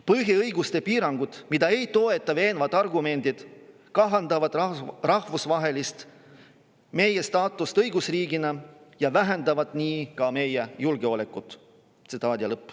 Põhiõiguste piirangud, mida ei toeta veenvad argumendid, kahandavad rahvusvaheliselt meie staatust õigusriigina ja vähendavad nii ka meie julgeolekut.